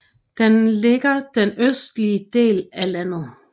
Den ligger den østlige del af landet